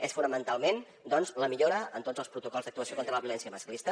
és fonamentalment doncs la millora en tots els protocols d’actuació contra la violència masclista